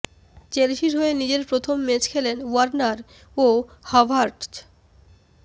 চেলসির হয়ে নিজের প্রথম ম্যাচ খেলেন ওয়ার্নার ও হাভার্টজ